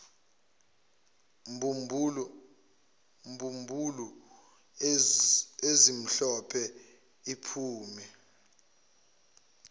mbumbulu ezimhlophe iphume